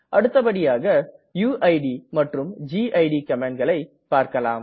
அடுத்தபடியாக யுயிட் மற்றும் கிட் கமாண்ட்களை பார்க்கலாம்